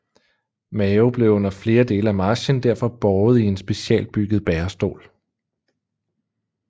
Mao blev under dele af marchen derfor båret i en specialbygget bærestol